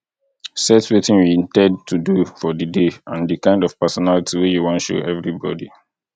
set wetin you in ten d to do for di day and di kind of personality wey you wan show everybody